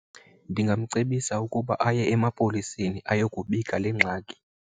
Ningamcebisa ukuba aye emapoliseni ayokubika le ngxaki.